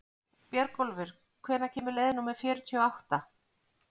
Björgólfur, hvenær kemur leið númer fjörutíu og átta?